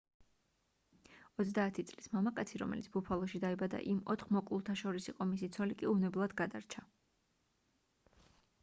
30 წლის მამაკაცი რომელიც ბუფალოში დაიბადა იმ ოთხ მოკლულთა შორის იყო მისი ცოლი კი უვნებლად გადარჩა